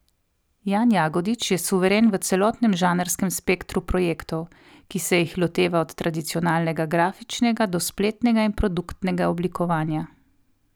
Jan Jagodič je suveren v celotnem žanrskem spektru projektov, ki se jih loteva od tradicionalnega grafičnega do spletnega in produktnega oblikovanja.